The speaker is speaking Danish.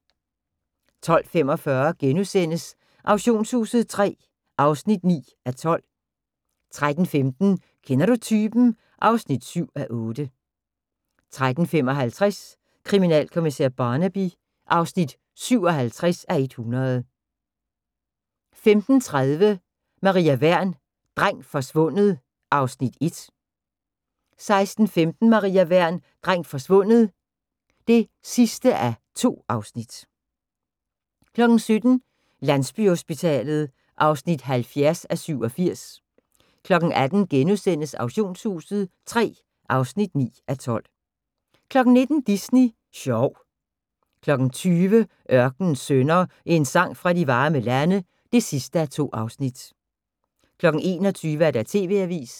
12:45: Auktionshuset III (9:12)* 13:15: Kender du typen? (7:8) 13:55: Kriminalkommissær Barnaby (57:100) 15:30: Maria Wern: Dreng forsvundet (Afs. 1) 16:15: Maria Wern: Dreng forsvundet (2:2) 17:00: Landsbyhospitalet (70:87) 18:00: Auktionshuset III (9:12)* 19:00: Disney sjov 20:00: Ørkenens Sønner – En sang fra de varme lande (2:2) 21:00: TV-avisen